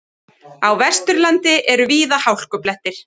Á Vesturlandi eru víða hálkublettir